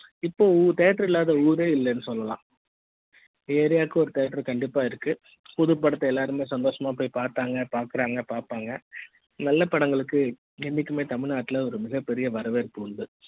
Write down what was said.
இப்போ Theater இல்லாத ஊரு இல்லைன்னு சொல்லலாம் area வுக்கு ஒரு theater கண்டிப்பா இருக்கு புது படத்த எல்லாருமே சந்தோசமா போய் பார்த்தாங்க பாக்குறாங்க பார்ப்பாங்க நல்ல படங்களுக்கு என்னைக்குமே தமிழ்நாட்டுல ஒரு மிகப்பெரிய வரவேற்பு உண்டு